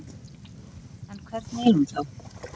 En hvernig er hún þá?